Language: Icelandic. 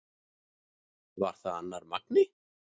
Var það annar Magni?